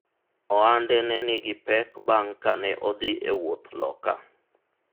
ohande ne nigi pek bang' kane odhi e wuoth loka